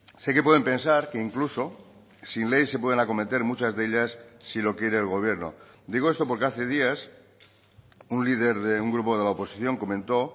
sé que pueden pensar que incluso sin ley se pueden acometer muchas de ellas si lo quiere el gobierno digo esto porque hace días un líder de un grupo de la oposición comentó